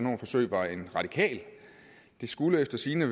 et forsøg var en radikal det skulle efter sigende